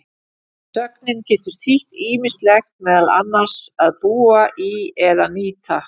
Sögnin getur þýtt ýmislegt, meðal annars að búa í eða nýta.